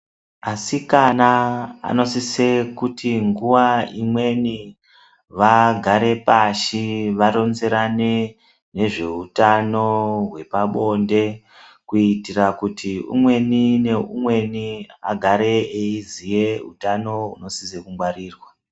Asikana anosise kuti nguwa imweni, vagare pashi varonzerane nezveutano hwepabonde ,kuitira kuti umweni neumweni agare eiziye utano hunosise kungwarirwa.